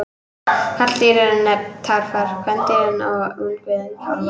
Karldýrin eru nefnd tarfar, kvendýrin kýr og ungviðið kálfar.